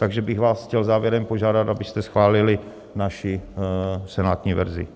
Takže bych vás chtěl závěrem požádat, abyste schválili naši senátní verzi.